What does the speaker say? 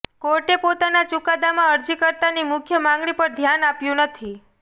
કોર્ટે પોતાના ચૂકાદામાં અરજીકર્તાની મુખ્ય માગણી પર ધ્યાન આપ્યું નથી